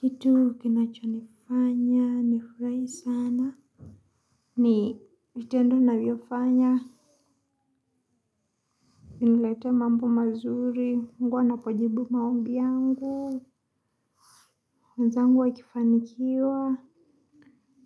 Kitu kinachonifanya, nifurahi sana. Ni vitendo navyofanya. Viniletee mambo mazuri. Mungu anapojibu maombi yangu. Wenzangu wakifanikiwa.